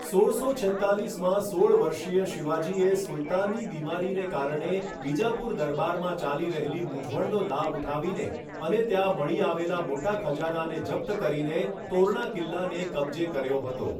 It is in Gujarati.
સોળસો છેત્તાલીસમાં સોળ વર્ષીય શિવાજીએ સુલતાનની બીમારીને કારણે બીજાપુર દરબારમાં ચાલી રહેલી મૂંઝવણનો લાભ ઉઠાવીને અને ત્યાં મળી આવેલા મોટા ખજાનાને જપ્ત કરીને તોરણા કિલ્લાને કબજે કર્યો હતો.